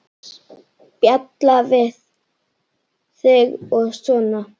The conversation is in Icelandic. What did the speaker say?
Spjalla við þig og svona.